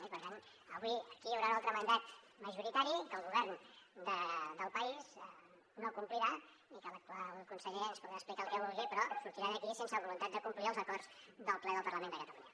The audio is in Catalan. i per tant avui aquí hi haurà un altre mandat majoritari que el govern del país no complirà i que l’actual conseller ens podrà explicar el que vulgui però sortirà d’aquí sense voluntat de complir els acords del ple del parlament de catalunya